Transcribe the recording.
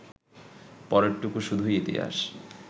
পরেরটুকু শুধুই ইতিহাস